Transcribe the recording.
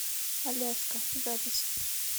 аляска запись